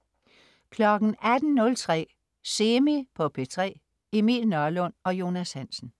18.03 Semi på P3. Emil Nørlund og Jonas Hansen